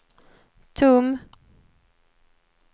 tom